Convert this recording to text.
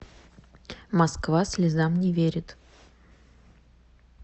москва слезам не верит